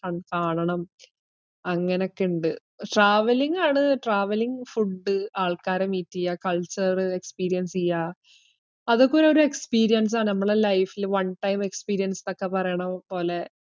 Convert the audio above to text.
കൺ~ കാണണം. അങ്ങനൊക്കെയിണ്ട് travelling ആണ് travelling, food ആൾക്കാരെ meet എയ്യ, culture experience എയ്യ, അതൊക്കെ ഒര്~ ഒരു experience ആ നമ്മളെ life ഇല് one time experience ന്നൊക്കെ പറേണ പോലെ.